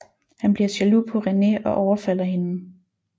Han bliver jaloux på René og overfalder hende